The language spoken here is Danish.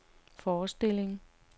forestilling